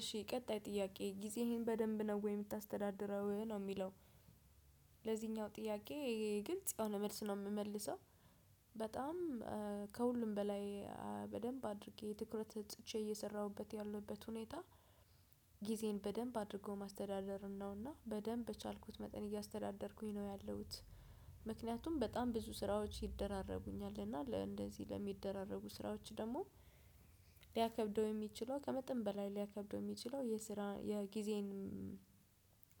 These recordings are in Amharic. እሺ ቀጣይ ጥያቄ ጊዜህን በደንብ ነው ወይ የምታስተዳድረው ነው የሚለው? ለዚኛው ጥያቄ ግልጽ የሆነ መልስ ነው የምመልሰው። በጣም ከሁሉም በላይ በደንብ አድርጌ ትኩረት ሰጥቼ እየሰራሁበት ያለሁበት ሁኔታ ጊዜን በደንብ አድርጎ ማስተዳደርን ነውና በደንብ በቻልኩት መጠን እያስተዳደርኩኝ ነው ያለሁት። ምክንያቱም በጣም ብዙ ስራዎች ይደራረቡኛልና እንደዚህ ለሚደራረቡ ስራዎች ደግሞ ሊያከብደው የሚችለው ከመጠን በላይ ሊያከብደው የሚችለው የስራ የጊዜን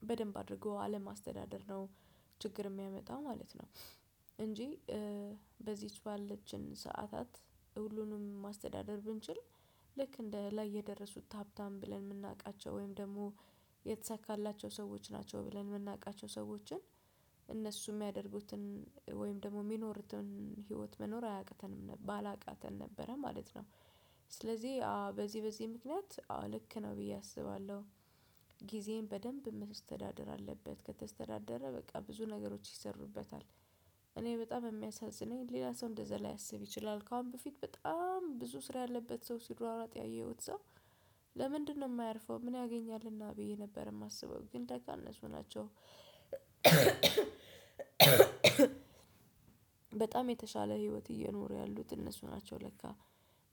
በደንብ አድርጎ አለማስተዳደር ነው ችግር የሚያመጣው ማለት ነው። እንጂ በዚች ባለችን ሰዓታት ሁሉንም ማስተዳደር ብንችል ልክ እንደ ላይ የደረሱት ሀብታም ብለን የምናውቃቸው ወይም ደግሞ የተሳካላቸው ሰዎች ናቸው ብለን የምናውቃቸው ሰዎችን እነሱ የሚያደርጉትን ወይም ደግሞ የሚኖርትን ህይወት መኖር አያቅተንም ባላቅተን ነበረ ማለት ነው። ስለዚህ በዚህ በዚህ ምክንያት አዎ ልክ ነው ብዬ አስባለሁ። ጊዜን በደንብ መስተዳደር አለበት ከተስተዳደረ በቃ ብዙ ነገሮች ይሰሩበታል። እኔ በጣም የሚያሳዝነኝ ሌላ ሰው እንደዛ ላያስብ ይችላል ከአሁን በፊት በጣም ብዙ ስራ ያለበት ሰው ሲሯራጥ ያየሁት ሰው። ለምንድነው የማያርፈው? ምን ያገኛልና ብዬ ነበር የማስበው ግን ደጋነሱ ናቸው። በጣም የተሻለ ህይወት እየኖሩ ያሉት እነሱ ናቸው ለካ።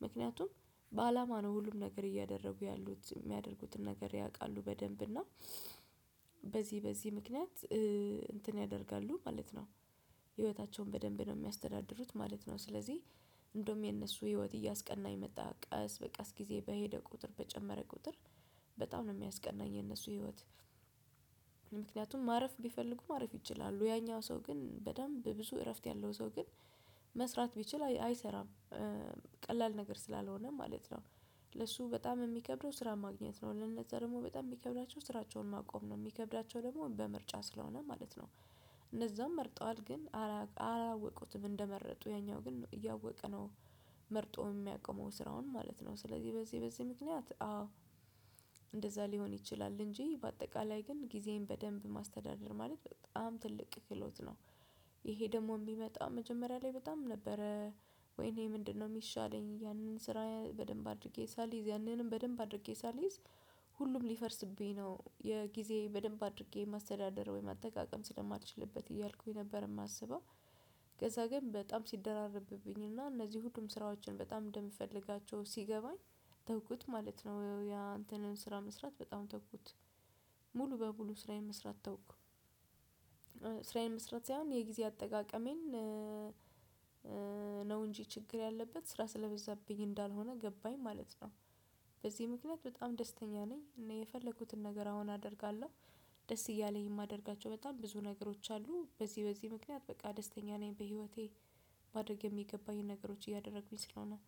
ምክንያቱም በአላማ ነው ሁሉም ነገር እያደረጉ ያሉት የሚያደርጉትን ነገር ያውቃሉ በደንብ እና በዚህ በዚህ ምክንያት እንትን ያደርጋሉ ማለት ነው። ህይወታቸውን በደንብ ነው የሚያስተዳድሩት ማለት ነው። ስለዚህ እንደውም የነሱ ህይወት እያስቀናኝ መጣ ቀስ በቀስ ጊዜ በሄደ ቁጥር በጨመረ ቁጥር በጣም ነው የሚያስቀናኝ የነሱ ህይወት። ምክንያቱም ማረፍ ቢፈልጉ ማረፍ ይችላሉ ያኛው ሰው ግን በደንብ ብዙ እረፍት ያለው ሰው ግን መስራት ቢችል አይሰራም። ቀላል ነገር ስላልሆነ ማለት ነው። ለሱ በጣም የሚከብደው ስራ ማግኘት ነው። ለነዛ ደግሞ በጣም የሚከብዳቸው ስራቸውን ማቆም ነው የሚከብዳቸው ደግሞ በምርጫ ስለሆነ ማለት ነው። እነዛም መርጠዋል ግን አላወቁትም እንደመረጡ ያኛው ግን እያወቀ ነው መርጦ የሚያቆመው ስራውን ማለት ነው፤ ስለዚህ በዚህ በዚህ ምክንያት አዎ እንደዛ ሊሆን ይችላል እንጂ በአጠቃላይ ግን ጊዜን በደንብ ማስተዳደር ማለት በጣም ትልቅ ክህሎት ነው፤ ይሄ ደግሞ የሚመጣው መጀመሪያ ላይ በጣም ነበረ ወይኔ! ምንድነው የሚሻለኝ ያንን ስራ በደንብ አድርጌ ሳልይዝ ያንንም በደንብ አድርጌ ሳልይዝ ሁሉም ሊፈርስብኝ ነው የጊዜ በደንብ አድርጌ ማስተዳደር ወይም አጠቃቀም ስለማልችልበት እያልኩኝ ነበር የማስበው። ከዛ ግን በጣም ሲደራረብብኝ እና እነዚህ ሁሉም ስራዎችን በጣም እንደምፈልጋቸው ሲገባኝ ተውኩት ማለት ነው። ያን እንትን ስራ መስራት በጣም ተውኩት። ሙሉ በሙሉ ስራዬን መስራት ተውኩ። ስራዬን መስራት ሳይሆን የጊዜ አጠቃቀሜን ነው እንጂ ችግር ያለበት ስራ ስለበዛብኝ እንዳልሆነ ገባኝ ማለት ነው። በዚህ ምክንያት በጣም ደስተኛ ነኝ እኔ የፈለኩትን ነገር አሁን አደርጋለሁ፤ ደስ እያለኝ የማደርጋቸው በጣም ብዙ ነገሮች አሉ በዚህ በዚህ ምክንያት በቃ ደስተኛ ነኝ በህይወቴ። ማድረግ የሚገባኝን ነገሮች እያደረጉኝ ስለሆነ